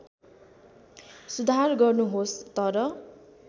सुधार गर्नुहोस् तर